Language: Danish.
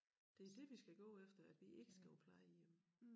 Det det vi skal gå efter at vi ikke skal på plejehjem